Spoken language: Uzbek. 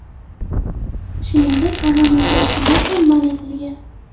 Shuningdek, anonim kelishuvlar ham man etilgan.